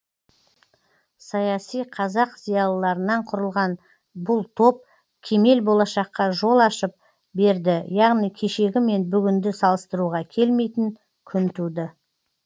саяси қазақ зиялыларынан құрылған бұл топ кемел болашаққа жол ашып берді яғни кешегі мен бүгінді салыстыруға келмейтін күн туды